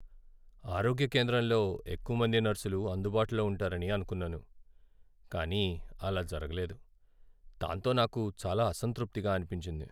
"ఆరోగ్య కేంద్రంలో ఎక్కువ మంది నర్సులు అందుబాటులో ఉంటారని అనుకున్నాను, కానీ అలా జరగలేదు, దాంతో నాకు చాలా అసంతృప్తిగా అనిపించింది."